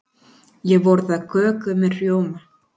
Ég borða köku með rjóma.